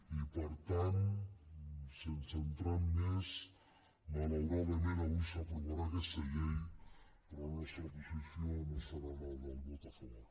i per tant sense entrar en més malauradament avui s’aprovarà aquesta llei però la nostra posició no hi serà la del vot a favor